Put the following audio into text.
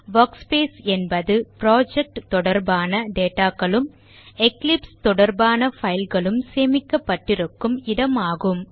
workspace என்பது project தொடர்பான data களும் எக்லிப்ஸ் தொடர்பான file களும் சேமிக்கப்பட்டிருக்கும் இடம் ஆகும்